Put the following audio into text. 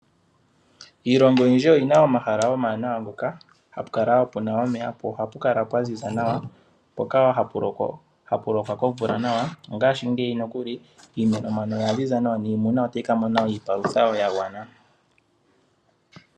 Iilongo oyindji oyina omahala omawanawa ngoka hapu kala wo puna omeya po ohapu kala pwa ziza nawa, mpoka wo hapu lokwa kovula nawa, ongaashingeyi nokuli iimeno oya ziza nawa niimuna ota yi ka mona iipalutha wo yagwana.